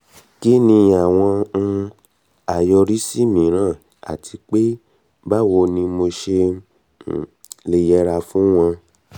kí ni àwọn um àyọrísí mìíràn àti pé báwo ni mo ṣe um lè yẹra fún wọn